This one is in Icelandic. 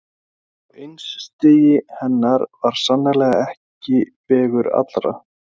Og einstigi hennar var sannarlega ekki vegur allra.